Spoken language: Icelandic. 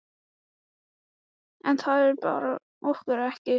En þar ber okkur ekki saman.